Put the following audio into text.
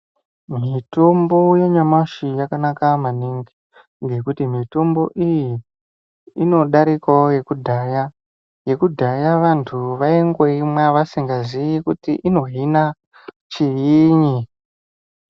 Mitombo yanyamashi yakanaka maningi ngekuti mitombo iyi ino darikawo yekudhaya yekudhaya vandu vaingoimwa vasinga ziyi kuti ino hina chiinyi.